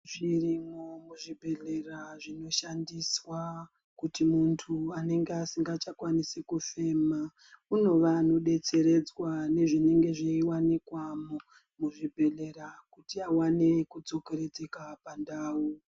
Zvirimwo muzvibhedhlera zvino shandiswa kuti muntu anenge asinga chakwanisi kufema unova anodetseredzwa nezvinenge zveiwanikwa muzvibhedhlera kuti awane kudzo keredzeka pandau.